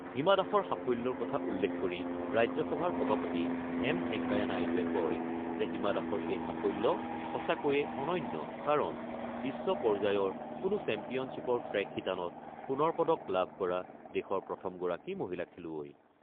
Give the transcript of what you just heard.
হিমা দাসৰ সাফল্যৰ কথা উল্লেখ কৰি ৰাজ্যসভাৰ সভাপতি এম ভেংকায়া নাইডুৱে কয় যে, হিমা দাসৰ এই সাফল্য সঁচাকৈয়ে অনন্য কাৰণ বিশ্ব পৰ্য্যায়ৰ কোনো চেম্পিয়নশ্বিপৰ ট্ৰেক শিতানত সোণৰ পদক লাভ কৰা দেশৰ প্ৰথমগৰাকী মহিলা খেলুৱৈ।